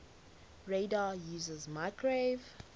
radar uses microwave